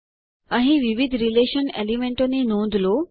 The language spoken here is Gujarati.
અહીં વિવિધ રીલેશન એલીમેન્તો ની નોંધ લો